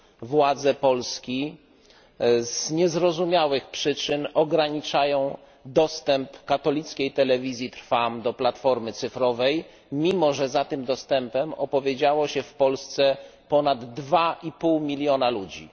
Władze Polski z niezrozumiałych przyczyn ograniczają dostęp katolickiej Telewizji Trwam do platformy cyfrowej, mimo że za tym dostępem opowiedziało się w Polsce ponad 2,5 miliona ludzi.